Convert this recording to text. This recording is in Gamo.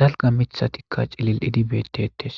dalga mithatikka cilil idibetetes